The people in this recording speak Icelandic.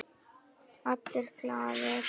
Allir glaðir.